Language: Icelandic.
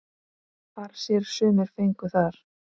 Far sér sumir fengu þar.